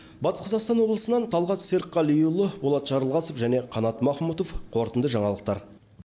батыс қазақстан облысынан талғат серікқалиұлы болат жарылғасов қанат махмұтов қорытынды жаңалықтар